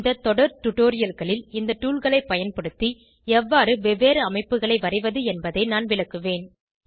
இந்த தொடர் டுடோரியல்களில் இந்த toolகளை பயன்படுத்தி எவ்வாறு வெவ்வேறு அமைப்புகளை வரைவது என்பதை நான் விளக்குவேன்